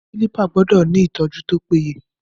Kílípà gbọ́dọ̀ ni ìtọ́jú tó péye.